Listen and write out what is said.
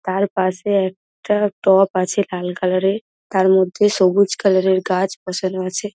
তার পাশে একটা টব আছে লাল কালার -এর তারমধ্যে সবুজ কালার -এর গাছ বসানো আছে।